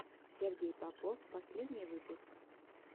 сергей попов последний выпуск